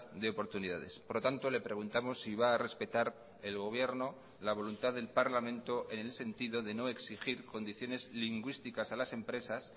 de oportunidades por lo tanto le preguntamos si va a respetar el gobierno la voluntad del parlamento en el sentido de no exigir condiciones lingüísticas a las empresas